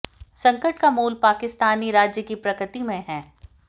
संकट का मूल पाकिस्तानी राज्य की प्रकृति में है